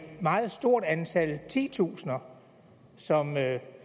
meget stort antal titusinder som